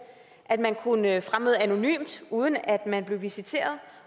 at man kunne fremmøde anonymt uden at man blev visiteret